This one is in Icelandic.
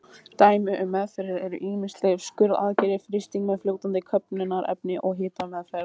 Dæmi um meðferðir eru ýmis lyf, skurðaðgerðir, frysting með fljótandi köfnunarefni og hitameðferð.